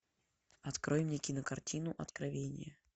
открой мне кинокартину откровение